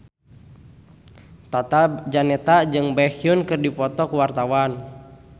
Tata Janeta jeung Baekhyun keur dipoto ku wartawan